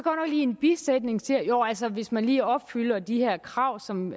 i en bisætning siger jo altså hvis man lige opfylder de her krav som